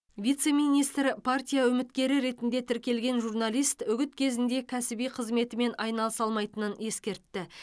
вице министр партия үміткері ретінде тіркелген журналист үгіт кезінде кәсіби қызметімен айналыса алмайтынын ескертті